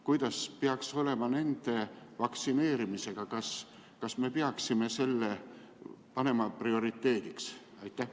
Kuidas peaks olema nende vaktsineerimisega, kas me peaksime selle panema prioriteediks?